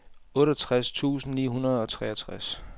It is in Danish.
otteogtres tusind ni hundrede og treogtres